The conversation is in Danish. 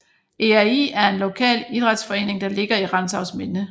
ERI er en lokal idrætsforening der ligger i Rantzausminde